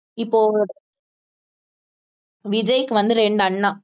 இப்போ விஜய்க்கு வந்து ரெண்டு அண்ணா